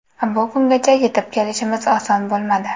Bu kungacha yetib kelishimiz oson bo‘lmadi.